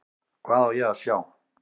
Hvað á ég að sjá?